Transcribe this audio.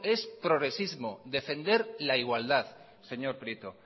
es progresismo defender la igualdad señor prieto